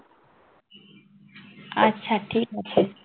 আচ্ছা ঠিক আছে।